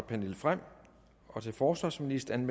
pernille frahm til forsvarsministeren